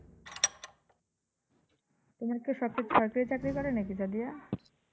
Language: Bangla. তোমার কেউকি সরকারি চাকরি করে নাকি সাদিয়া?